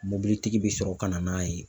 Mobilitigi bɛ sɔrɔ ka na n'a ye.